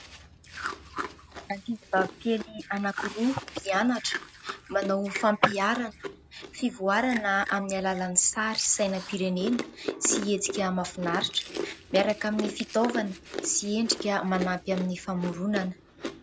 Ankizivavy kely anankiroa mpianatra manao fampiharana, fivoarana amin'ny alalan'ny sary sainam-pirenena sy hetsika mahafinaritra miaraka amin'ny fitaovana sy endrika manampy amin'ny famoronana.